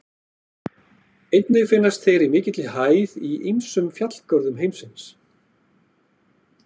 Einnig finnast þeir í mikilli hæð í ýmsum fjallgörðum heimsins.